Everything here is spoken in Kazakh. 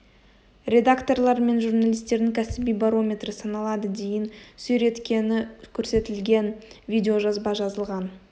редакторлар мен журналистердің кәсіби барометрі саналады дейін сүйреткені көрсетілген видео жазба жазылған